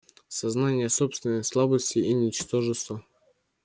сознание собственной слабости и ничтожества